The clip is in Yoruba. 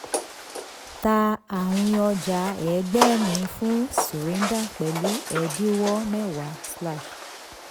tà àwìn ọja ẹgbẹ̀rin fún surinder pẹ̀lú ẹ̀dínwó mẹ́wàá.